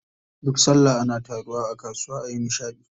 Duk sallah ana taruwa a kasuwa ayi nishaɗi.